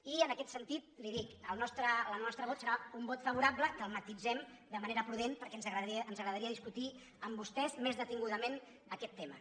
i en aquest sentit li ho dic el nostre vot serà un vot favorable que el matisem de manera prudent perquè ens agradaria discutir amb vostès més detingudament aquest tema